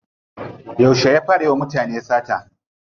Yauce ya fara yiwa mutane sata?